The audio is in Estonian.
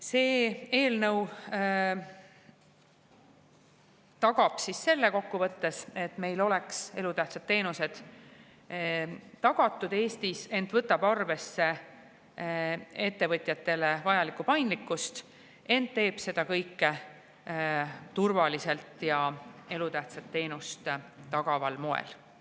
Kokku võttes tagab eelnõu selle, et meil on elutähtsad teenused Eestis tagatud, see võtab arvesse ettevõtjatele vajalikku paindlikkust, ent teeb seda kõike turvaliselt ja elutähtsat teenust tagaval moel.